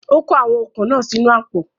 Ó kó àwọn okún iná náà sínu àpò